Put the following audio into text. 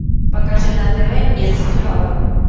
покажи на тв мир сериала